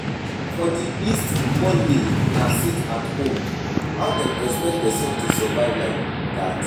For the east Mondays na sit-at-home, how dem expect person to survive like dat?